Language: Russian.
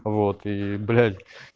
вот и блять